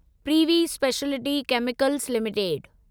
privy speciality chemicals limited